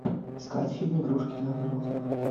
искать фильм игрушки для взрослых